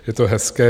Je to hezké.